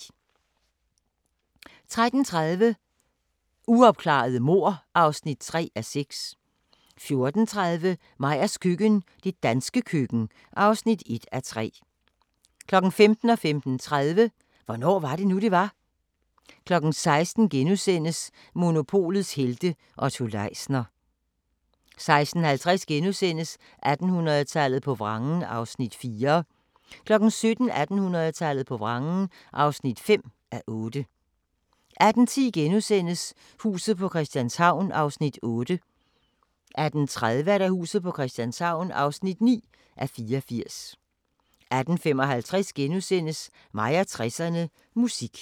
13:30: Uopklarede mord (3:6) 14:30: Meyers køkken – det danske køkken (1:3) 15:00: Hvornår var det nu, det var? * 15:30: Hvornår var det nu, det var? 16:00: Monopolets helte - Otto Leisner * 16:50: 1800-tallet på vrangen (4:8)* 17:30: 1800-tallet på vrangen (5:8) 18:10: Huset på Christianshavn (8:84)* 18:30: Huset på Christianshavn (9:84)* 18:55: Mig og 60'erne: Musik *